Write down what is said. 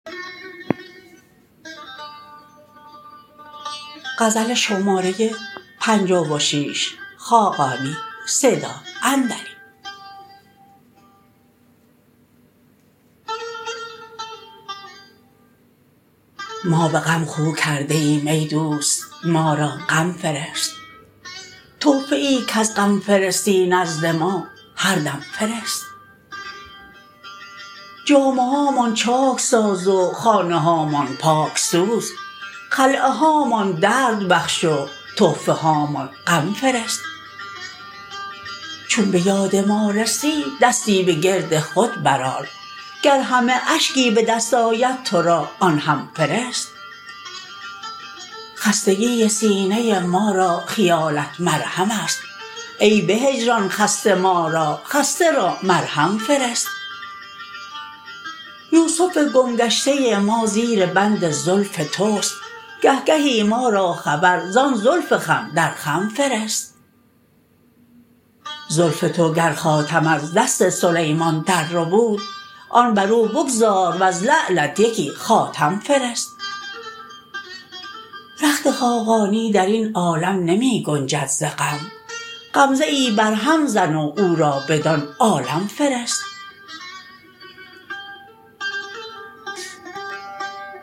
ما به غم خو کرده ایم ای دوست ما را غم فرست تحفه ای کز غم فرستی نزد ما هر دم فرست جامه هامان چاک ساز و خانه هامان پاک سوز خلعه هامان درد بخش و تحفه هامان غم فرست چون به یاد ما رسی دستی به گرد خود برآر گر همه اشکی به دست آید تو را آن هم فرست خستگی سینه ما را خیالت مرهم است ای به هجران خسته ما را خسته را مرهم فرست یوسف گم گشته ما زیر بند زلف توست گهگهی ما را خبر زان زلف خم در خم فرست زلف تو گر خاتم از دست سلیمان درربود آن بر او بگذار وز لعلت یکی خاتم فرست رخت خاقانی در این عالم نمی گنجد ز غم غمزه ای بر هم زن و او را بدان عالم فرست